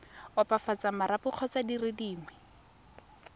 opafatsa marapo kgotsa dire dingwe